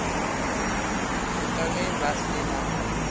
ka ge ba se na